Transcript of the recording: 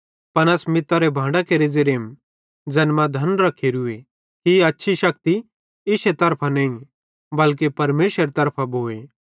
पन अस मितारे भांडां केरे ज़ेरेम ज़ैन मां धन रखेरुए कि ई हछ्छी शक्ति इश्शे तरफां नईं बल्के परमेशरेरे तरफां भोए